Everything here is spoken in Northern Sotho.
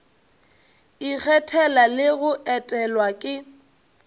ikgethela le go etelwa ke